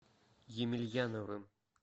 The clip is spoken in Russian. емельяновым